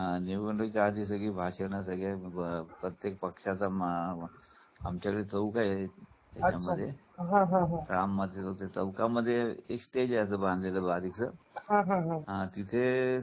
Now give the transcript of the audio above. हां निवडणुकीच्या आधी सगळी भाषणं सगळे प्रत्येक पक्षाचा आमच्याकडे चौक आहे. हा हा चौका मध्ये एक स्टेज यायचं बांधलेल भारीच हा हा तिथे